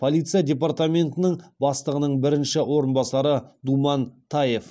полиция департаментінің бастығының бірінші орынбасары думан таев